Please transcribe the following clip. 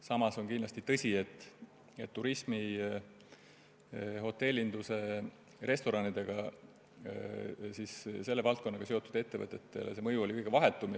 Samas on kindlasti tõsi, et turismi, hotellinduse ja toitlustusega seotud ettevõtete puhul on mõju olnud kõige vahetum.